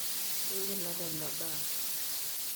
ingila nena baa